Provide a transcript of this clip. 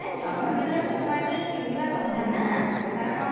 ନାଇଁ ଜନ୍ମ ଦିନରେ ତ ନୂଆ dress ପିନ୍ଧିବା କଥା ନା କାରଣ